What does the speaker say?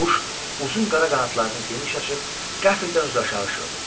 Quş uzun qara qanadlarını geniş açıb qəfildən üzü aşağı şığıdı.